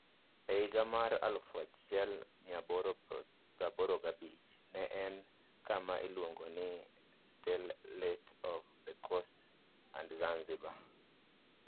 E higa mar 1885, ne en kama iluongo ni Sultanate of the Coast and Zanzibar.